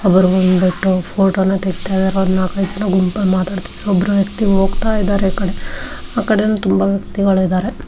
ಅವರು ಬಾಂಬಿಟ್ಟು ಫೋಟೋವನ್ನ ತೆಗಿತಾಯಿದಾರೆ ಅವರು ನಾಲ್ಕು ಜನ ಗುಂಪಲ್ಲಿ ಮಾತಾಡ್ತಾ ಇದಾರೆ ಒಬ್ಬರ ವ್ಯಕ್ತಿ ಹೋಗ್ತಾ ಇದ್ದರೆ ಆಕಡಿ ಆ ಕಡೆ ತುಂಬಾ ವ್ಯಕ್ತಿಗಳು ಇದ್ದಾರೆ .